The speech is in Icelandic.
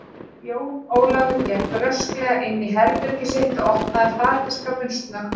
Jón Ólafur gekk rösklega inn í herbergið sitt og opnaði fataskápinn snöggt.